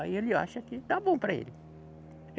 Aí ele acha que está bom para ele.